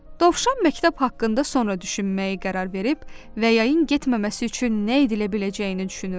Dovşan məktəb haqqında sonra düşünməyə qərar verib və yayın getməməsi üçün nə edilə biləcəyini düşünürdü.